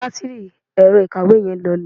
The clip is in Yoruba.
batiri ẹrọ ìkawó yi lọlẹ